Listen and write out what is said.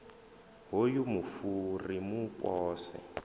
hoyu mufu ri mu pose